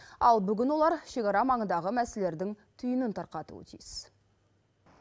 ал бүгін олар шекара маңындағы мәселелердің түйінін тарқатуы тиіс